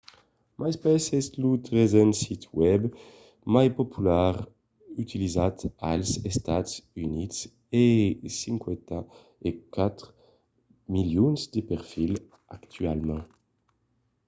myspace es lo tresen sit web mai popular utilizat als estats units e ten 54 milions de perfils actualament